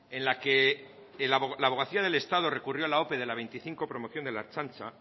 en la que la abogacía del estado recurrió la ope de la veinticinco promoción de la ertzaintza